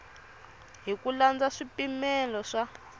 hi ku landza swipimelo swa